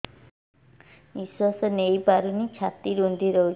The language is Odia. ନିଶ୍ୱାସ ନେଇପାରୁନି ଛାତି ରୁନ୍ଧି ଦଉଛି